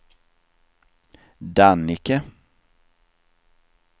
Dannike